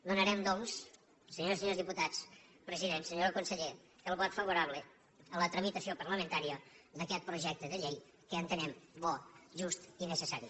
donarem doncs senyores i senyors diputats president senyor conseller el vot favorable a la tramitació parlamentària d’aquest projecte de llei que entenem bo just i necessari